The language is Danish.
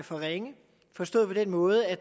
for ringe forstået på den måde at